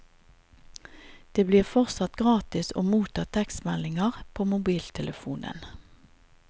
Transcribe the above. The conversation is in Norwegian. Det blir fortsatt gratis å motta tekstmeldinger på mobiltelefonen.